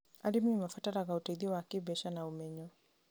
Arĩmi marabatara ũteithio wa kĩmbeca na ũmenyo.